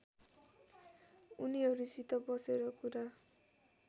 उनीहरूसित बसेर कुरा